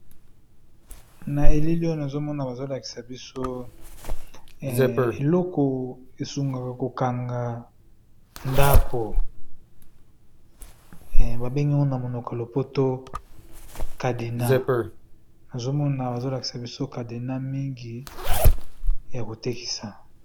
Na elili oyo nazomona bazolakisa biso eloko esungaka kokanga ndako, babengi yango na monoko lopoto cadena . Nazomona bazolakisa biso cadena mingi ya kotekisa.